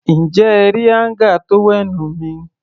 Ǹjẹ́ ẹ rí áńgà tówẹ́ẹ̀nù mi?